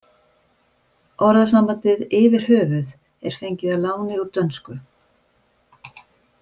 Orðasambandið yfir höfuð er fengið að láni úr dönsku.